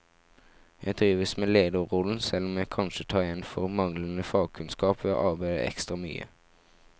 Jeg trives med lederrollen, selv om jeg kanskje tar igjen for manglende fagkunnskap ved å arbeide ekstra mye.